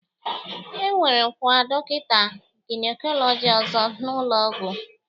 E werewokwa dọkịta gynecology ọzọ n'ụlọọgwụ